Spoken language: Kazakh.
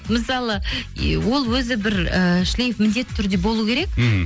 мысалы ол өзі бір ііі шлиф міндетті түрде болу керек мхм